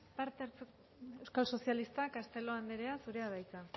euskal sozialistak castelo anderea zurea da hitza